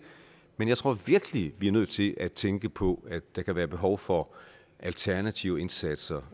men jeg tror virkelig vi er nødt til at tænke på at der kan være behov for alternative indsatser